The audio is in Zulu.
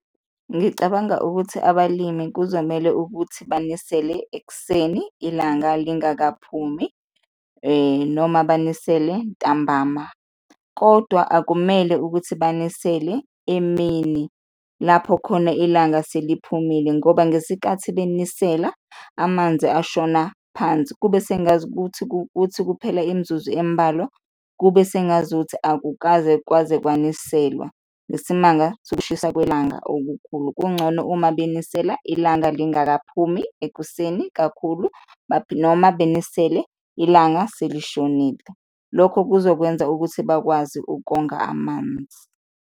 Ngicabanga ukuthi abalimi kuzomele ukuthi banisele ekuseni ilanga lingakaphumi noma banisele ntambama, kodwa akumele ukuthi banisele emini lapho khona ilanga seliphumile ngoba ngesikhathi benisela, amanzi ashona phansi kube sengazukuthi kuthi kuphela imizuzu embalwa, kube sengazukuthi akukaze kwaze kwaniselwa ngesimanga sokushisa kwelanga okukhulu. Kungcono uma benisela ilanga lingakaphumi, ekuseni kakhulu noma benisele ilanga selishonile, lokho kuzokwenza ukuthi bakwazi ukonga amanzi.